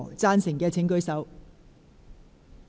贊成的請舉手。